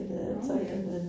Nåh ja